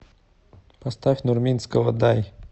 поставь нурминского дай